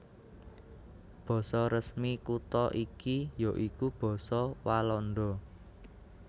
Basa resmi kutha iki ya iku basa Walanda